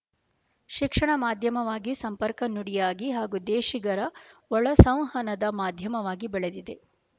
ಶಿಕ್ಷಣ ಮಾಧ್ಯಮವಾಗಿ ಸಂಪರ್ಕ ನುಡಿಯಾಗಿ ಹಾಗೂ ದೇಶಿಗರ ಒಳಸೌ ವಹನದ ಮಾಧ್ಯಮವಾಗಿ ಬೆಳೆದಿದೆ